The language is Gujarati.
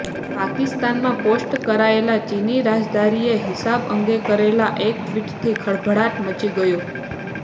પાકિસ્તાનમાં પોસ્ટ કરાયેલા ચીની રાજદ્વારીએ હિજાબ અંગે કરેલા એક ટ્વિટથી ખળભળાટ મચી ગયો